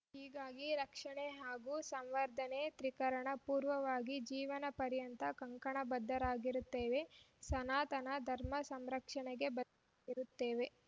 ಹೀಗಾಗಿ ರಕ್ಷಣೆ ಹಾಗೂ ಸಂವರ್ಧನೆಗೆ ತ್ರಿಕರಣ ಪೂರ್ವಕವಾಗಿ ಜೀವನಪರ್ಯಂತ ಕಂಕಣ ಬದ್ಧರಾಗಿರುತ್ತೇವೆ ಸನಾತನ ಧರ್ಮಸಂರಕ್ಷಣೆಗೆ ಬದ್ಧ ರುತ್ತೇವೆ